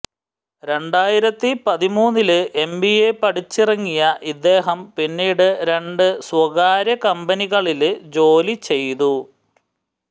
രണ്ടായിരത്തി പതിമൂന്നില് എംബിഎ പഠിച്ചിറങ്ങിയ ഇദ്ദേഹം പിന്നീട് രണ്ട് സ്വകാര്യ കമ്പനികളില് ജോലി ചെയ്തു